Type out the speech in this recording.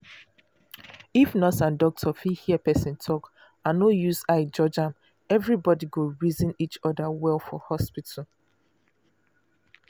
if nurse and doctor fit hear person talk and no use eye judge am everybody go reason each other well for hospital.